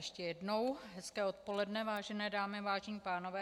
Ještě jednou hezké odpoledne, vážené dámy, vážení pánové.